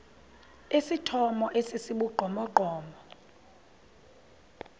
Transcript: esithomo esi sibugqomogqomo